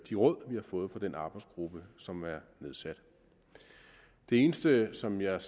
de råd vi har fået fra den arbejdsgruppe som er nedsat det eneste som jeg